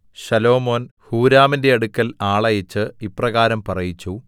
ശലോമോൻ ഹൂരാമിന്റെ അടുക്കൽ ആളയച്ച് ഇപ്രകാരം പറയിച്ചു